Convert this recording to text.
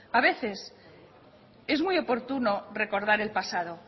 a veces es muy oportuno recordar el pasado